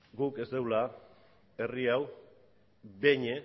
guk ez dugula herri hau behin